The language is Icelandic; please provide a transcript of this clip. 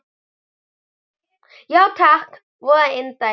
Já takk, voða indælt